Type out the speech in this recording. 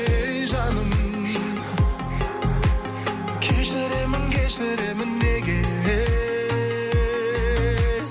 ей жаным кешіремін кешіремін неге